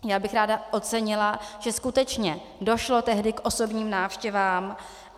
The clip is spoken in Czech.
Já bych ráda ocenila, že skutečně došlo tehdy k osobním návštěvám.